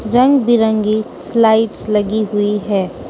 रंग बिरंगी स्लाइड्स लगी हुई है।